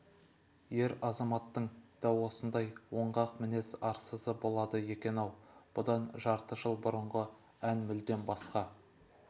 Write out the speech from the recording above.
ер азаматтың да осындай оңғақ мінез арсызы болады екен-ау бұдан жарты жыл бұрынғы ән мүлдем басқа